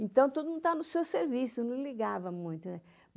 Então, todo mundo estava no seu serviço, não ligava muito, né?